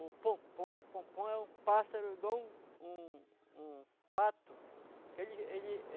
O pom-pom, o pom-pom é um pássaro igual um um um pato. Que ele ele